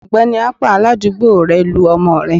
Ọgbẹni akpan, aládùúgbò rẹ, lu ọmọ rẹ